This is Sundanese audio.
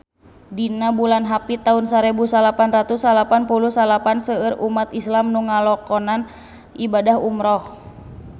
Dina bulan Hapit taun sarebu salapan ratus salapan puluh salapan seueur umat islam nu ngalakonan ibadah umrah